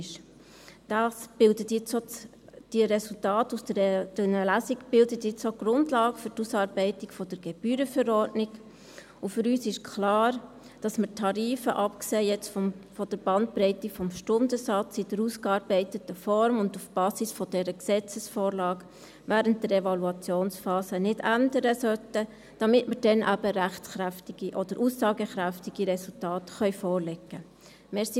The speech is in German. Die Resultate aus dieser Lesung bildet nun auch die Grundlage für die Ausarbeitung der Gebührenverordnung, und für uns ist klar, dass wir die Tarife – abgesehen von der Bandbreite des Stundensatzes – in der ausgearbeiteten Form und auf der Basis dieser Gesetzesvorlage während der Evaluationsphase nicht ändern sollten, damit wir dann eben aussagekräftige Resultate vorlegen können.